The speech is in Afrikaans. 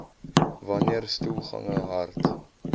wanneer stoelgange hard